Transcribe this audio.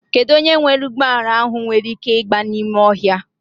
Kedụ onye nwe ụgbọala ahụ nwere ị́ké ịgba n'ime ọhịa?